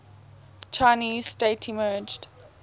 chinese state emerged